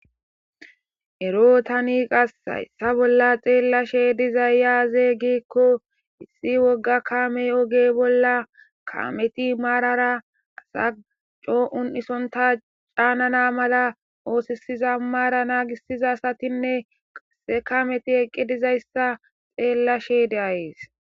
ero tani qas hayssa bolla xeellashe dizayy aaze giikko issi wogga kamey oge bolla kameti maarara asa coo7un isonta caanana mala oosisiza maara naagisiza asatinne qasse kameti eqqi dizayssa xeellashe de7ayis